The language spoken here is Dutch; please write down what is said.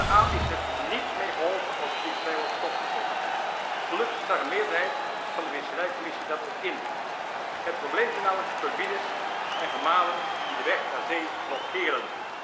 De aal is er niet mee geholpen als de visserij wordt stopgezet. Gelukkig zag een meerderheid van de visserijcommissie dat ook in. Het probleem zijn namelijk turbines en gemalen die de weg naar zee blokkeren.